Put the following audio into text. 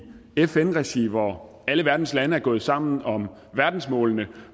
fn regi hvor alle verdens lande er gået sammen om verdensmålene